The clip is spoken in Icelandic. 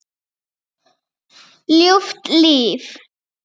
Ljúft líf.